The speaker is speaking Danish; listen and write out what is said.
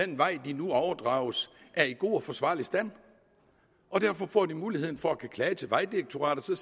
den vej de nu overdrages er i god og forsvarlig stand og derfor får de nu muligheden for at kunne klage til vejdirektoratet